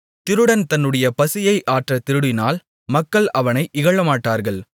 திருடன் தன்னுடைய பசியை ஆற்றத் திருடினால் மக்கள் அவனை இகழமாட்டார்கள்